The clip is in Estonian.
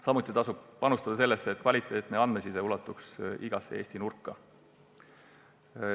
Samuti tasub panustada sellesse, et kvaliteetne andmeside ulatuks igasse Eesti nurka.